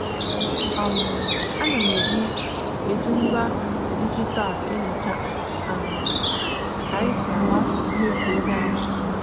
um ana m eji m eji ngwa dijitalụ enyocha um ka anyị si agbaso mmefu ego anyị kwa ọnwa.